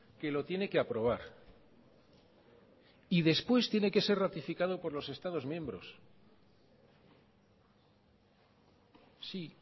que lo tiene que aprobar y después tiene que ser ratificado por los estados miembros sí